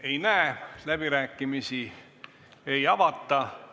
Ei näe soovijaid, läbirääkimisi ei avata.